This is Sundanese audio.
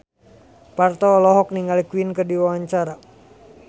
Parto olohok ningali Queen keur diwawancara